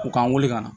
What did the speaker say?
U k'an wele ka na